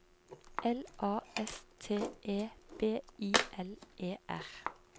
L A S T E B I L E R